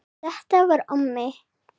Þetta var Ómi